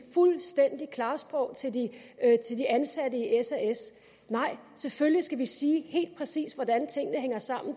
fuldstændig klart sprog til de ansatte i sas nej selvfølgelig skal vi sige helt præcist hvordan tingene hænger sammen